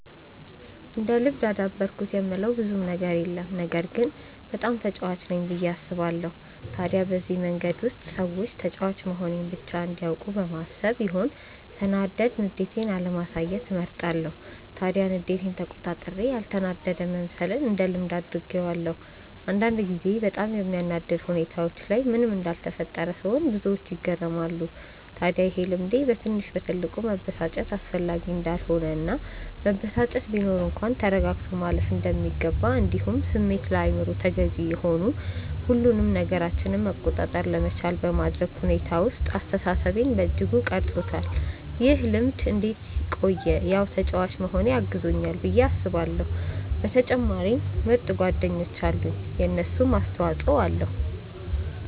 እንደ ልምድ አዳበርኩት የምለው ብዙም ነገር የለም ግን በጣም ተጫዋች ነኝ ብዬ አስባለው። ታዲያ በዚህ መንገድ ውስጥ ሰዎች ተጫዋች መሆኔን ብቻ እንዲያውቁ በማሰብ ይሆን ሰናዳድ ንዴቴን አለማሳየትን እመርጣለው። ታዲያ ንዴቴን ተቆጣጥሬ ያልተናደደ መምሰልን እንደ ልምድ አድርጌዋለው። አንዳንድ ጊዜ በጣም በሚያናድድ ሁኔታዎች ላይ ምንም እንዳልተፈጠረ ስሆን ብዙዎች ይገረማሉ። ታድያ ይሄ ልምዴ በትንሽ በትልቁ መበሳጨት አስፈላጊ እንዳልሆነ እና መበሳጨት ቢኖር እንኳን ተረጋግቶ ማለፍ እንደሚገባ እንዲሁም ስሜት ለአይምሮ ተገዢ ሆኑ ሁሉንም ነገራችንን መቆጣጠር ለመቻል በማድረግ ሁኔታ ውስጥ አስተሳሰቤን በእጅጉ ቀርፆታል። ይህ ልምድ እንዴት ቆየ ያው ተጫዋች መሆኔ አግዞኛል ብዬ አስባለው በተጨማሪም ምርጥ ጓደኞች አሉኝ የነሱም አስተፆይ ኣለዉ።